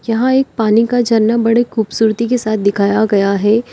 यहां एक पानी का झरना बड़े खूबसूरती के साथ दिखाया गया है।